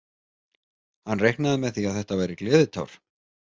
Hann reiknaði með því að þetta væri gleðitár.